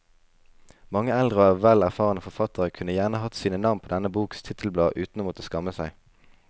Mange eldre og vel erfarne forfattere kunne gjerne hatt sine navn på denne boks titelblad uten å måtte skamme seg.